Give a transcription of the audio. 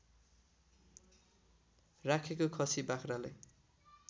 राखेका खसि बाख्रालाई